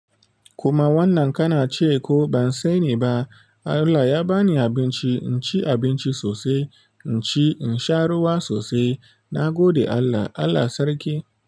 Kuma wannan kana cewa ko bansani ba. Allah ya ba ni abinci, in ci abinci sosai, in ci, in sha ruwa sosai. Na gode Allah. Allah sarki.